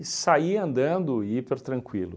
E saí andando hiper tranquilo.